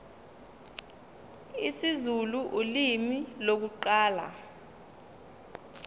isizulu ulimi lokuqala